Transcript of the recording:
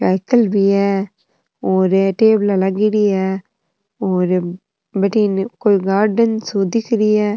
cycle भी है और ये टेबला लागेड़ी है और बठन कोई गार्डन सो दिख रिया --